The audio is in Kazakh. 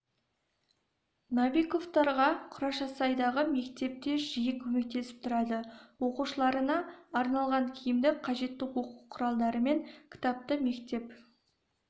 новиковтарға құрашасайдағы мектеп те жиі көмектесіп тұрады оқушыларына арналған киімді қажетті оқу құралдары мен кітапты мектеп